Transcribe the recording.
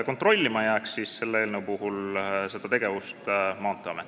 Selle eelnõu järgi jääks Maanteeamet seda tegevust kontrollima.